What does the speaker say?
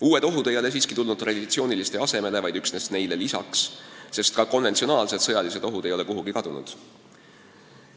Uued ohud ei ole siiski tulnud traditsiooniliste asemele, vaid neile lisaks, sest ka konventsionaalsed sõjalised ohud ei ole kuhugi kadunud.